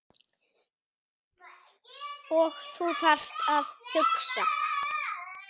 Og þú þarft að hugsa.